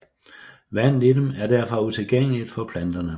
Vandet i dem er derfor utilgængeligt for planterne